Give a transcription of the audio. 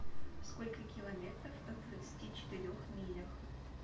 сколько километров в двадцати четырех милях